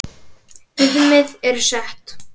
Viðmið eru sett.